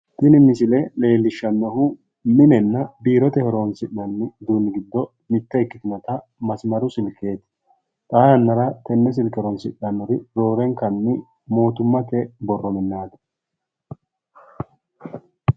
Tini misile leellishannohu mnenna biirote horonsi'nanni uduuni giddo mitte ikkitinota masimaru silkkeeti. xaa yannara tenne silkke horonsidhannori mootummate borro minnaati.